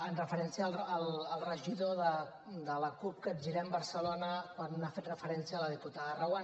amb referència al regidor de la cup capgirem barcelona quan hi ha fet referència la diputada reguant